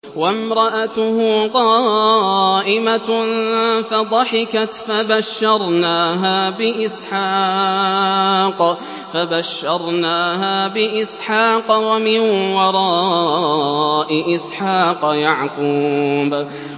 وَامْرَأَتُهُ قَائِمَةٌ فَضَحِكَتْ فَبَشَّرْنَاهَا بِإِسْحَاقَ وَمِن وَرَاءِ إِسْحَاقَ يَعْقُوبَ